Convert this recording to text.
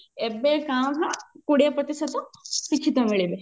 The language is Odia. ଏବେ କାଁ ଭାଁ କୋଡିଏ ପ୍ରତିଶତ ଶିକ୍ଷିତ ମିଳିବେ